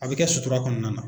A bɛ kɛ sutura kɔnɔna na.